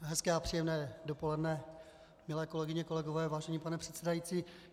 Hezké a příjemné dopoledne, milé kolegyně, kolegové, vážený pane předsedající.